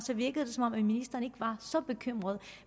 virkede det som om ministeren ikke var så bekymret